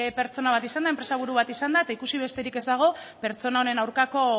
pertsona bat izan da enpresaburu bat izan da eta ikusi besterik ez dago pertsona honen aurkako